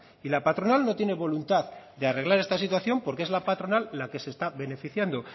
y la patronal no tiene voluntad de arreglar esta situación porque es la patronal la que se está beneficiando